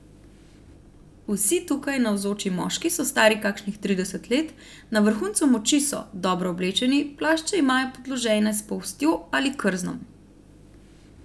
Vsi tukaj navzoči moški so stari kakšnih trideset let, na vrhuncu moči so, dobro oblečeni, plašče imajo podložene s polstjo ali krznom.